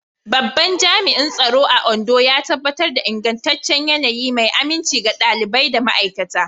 Babban Jami'in Tsaro a Ondo yana tabbatar da ingantaccen yanayi mai aminci ga ɗalibai da ma'aikata.